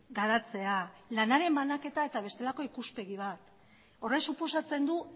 garatzea lanaren banaketa eta bestelako ikuspegi bat horrek suposatzen du